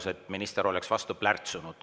Sellega, et minister oleks vastu plärtsunud.